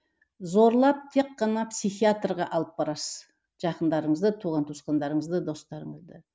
зорлап тек қана психиатрға алып барасыз жақындарыңызды туған туысқандарыңызды достарыңызды